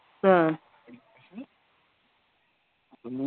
ആഹ്